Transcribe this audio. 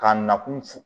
Ka na kun f